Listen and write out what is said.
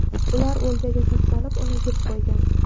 Ular o‘ljaga tashlanib, uni yeb qo‘ygan.